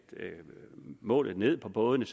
målet på bådene